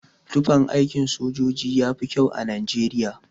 Tufan aikin sojoji yafi kyau a Najeriya.